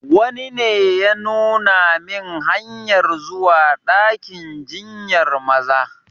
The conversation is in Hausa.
Wani ne ya nuna min hanyar zuwa dakin jinyar Maza.